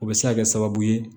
O bɛ se ka kɛ sababu ye